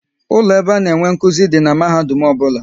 Ụlọ ebe a na-enye nkụzi dị n'mahadum ọbụla